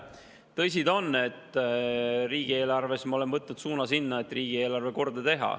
Tõsi ta on, et me oleme võtnud suuna sinna, et riigieelarve korda teha.